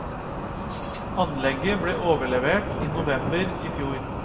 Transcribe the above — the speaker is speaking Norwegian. Anlegget ble overlevert i november i fjor.